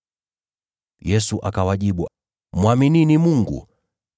Yesu akawajibu, “Mwaminini Mungu.